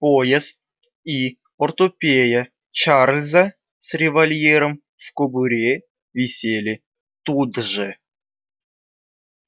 пояс и портупея чарльза с револьвером в кобуре висели тут же